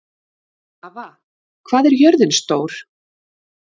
Svava, hvað er jörðin stór?